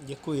Děkuji.